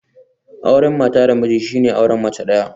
Auren mata da miji shine auren mace daya